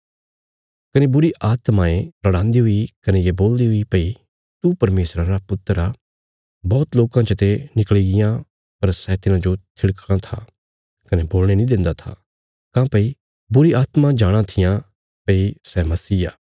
कने बुरीआत्मायें रड़ान्दी हुई कने ये बोलदी हुई भई तू परमेशरा रा पुत्र आ बौहत लोकां चते निकल़ी गियां पर सै तिन्हाजो थिड़कां था कने बोलणे नीं देन्दा था काँह्भई बुरी आत्मा जाणाँ थिआं भई सै मसीह आ